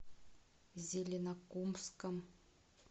зеленокумском